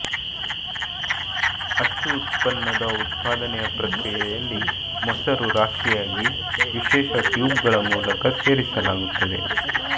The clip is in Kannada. ಅಚ್ಚು ಉತ್ಪನ್ನದ ಉತ್ಪಾದನೆಯ ಪ್ರಕ್ರಿಯೆಯಲ್ಲಿ ಮೊಸರು ರಾಶಿಯಾಗಿ ವಿಶೇಷ ಟ್ಯೂಬ್ಗಳ ಮೂಲಕ ಸೇರಿಸಲಾಗುತ್ತದೆ